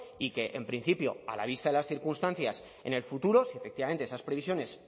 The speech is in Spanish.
y que en principio a la vista de las circunstancias en el futuro si efectivamente esas previsiones